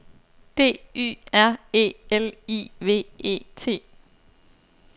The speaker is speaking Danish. D Y R E L I V E T